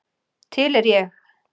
Til er ég.